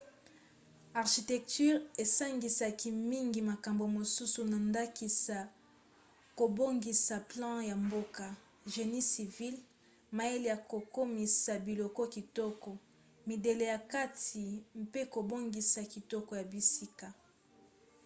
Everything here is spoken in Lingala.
architecture esangisaka mingi makambo mosusu na ndakisa kobongisa plan ya mboka génie civil mayele ya kokomisa biloko kitoko midele ya kati mpe kobongisa kitoko ya bisika